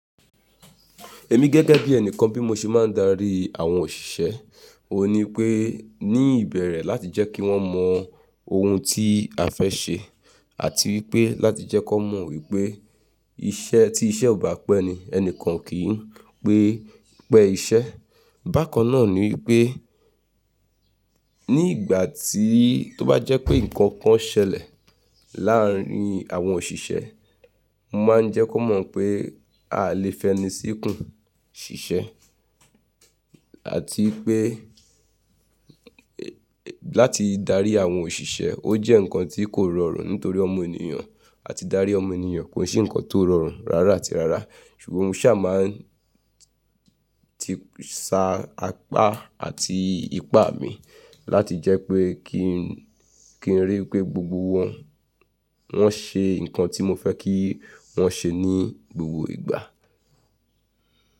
Èmi gẹ́gẹ́ bí ẹnìkan bí mo ṣe máa ń darí àwọn òṣìṣẹ́, òní pé ní ìbẹ̀rẹ̀ láti jẹ́ kí wọ́n mọ ohun tí a fẹ́ ṣe àti wípé láti jẹ́ kí wọ́n mọ wípé iṣẹ́ tí iṣẹ́ ò bá pẹ́ ni ẹni kan kì í pẹ́ iṣẹ́. Bákan náà ni wípé ní ìgbà tí tó bá jẹ́ pé nǹkan kan ṣẹlẹ̀ láàrín àwọn òṣìṣẹ́, mo máa ń jẹ́ kí wọ́n mọ̀ pé a lè fẹnu síkùn ṣiṣẹ́ àti wipé láti darí àwọn òṣìṣẹ́, ó jẹ́ nǹkan tí kò rọrùn nítorí ọmọ ènìyàn àti darí ọmọ ènìyàn ki i ṣe nǹkan tó rọrùn rárá àti rárá. Ṣùgbọ́n mo ṣà máa sa apá àti ipá mi láti jẹ́ pé kí n rí i pé gbogbo wọn, wọ́n ṣe nǹkan tí mo fẹ́ kí wọ́n ṣe ní gbogbo ìgbà.